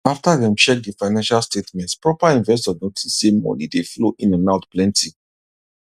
after dem check the financial statements proper investors notice say money dey flow in and out plenty